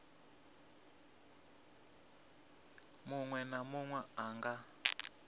munwe na munwe a nga